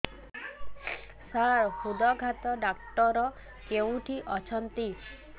ସାର ହୃଦଘାତ ଡକ୍ଟର କେଉଁଠି ଅଛନ୍ତି